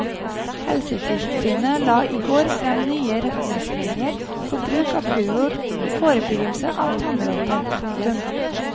Helsetilsynet la i går frem nye retningslinjer for bruk av fluor i forebyggelse av tannråte. punktum